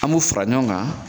An m'o fara ɲɔgɔn kan